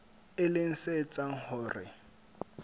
e leng se etsang hore